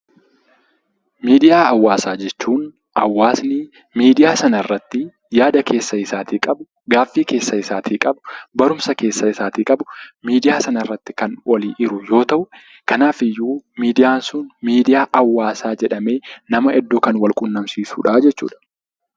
Miidiyaa hawaasaa jechuun hawaasni miidiyaa sana irratti yaada ofii isaatii qabu, gaaffii keessa isaatii qabu, ceephoo keessa isaatii qabu, miidiyaa irratti kan walii hiru yoo ta'u, kanaafiyyuu miidiyaan sun miidiyaa hawaasaa jedhamee kan wal quunnamsiisudha jechuudha.